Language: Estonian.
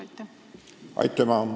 Aitüma!